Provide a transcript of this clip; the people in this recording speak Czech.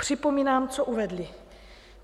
Připomínám, co uvedli.